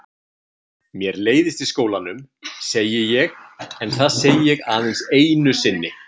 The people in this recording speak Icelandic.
Mér leiðist í skólanum, segi ég en það segi ég aðeins einu sinni.